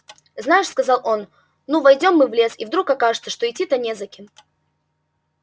знаешь сказал он ну войдём мы в лес и вдруг окажется что идти-то не за кем